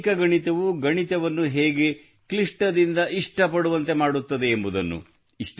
ವೈದಿಕ ಗಣಿತವು ಗಣಿತವನ್ನು ಹೇಗೆ ಕ್ಲಿಷ್ಟದಿಂದ ಇಷ್ಟ ಪಡುವಂತೆ ಮಾಡುತ್ತದೆ ಎಂಬುದನ್ನು